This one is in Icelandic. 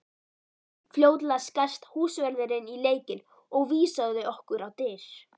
Fljótlega skarst húsvörðurinn í leikinn og vísaði okkur á dyr.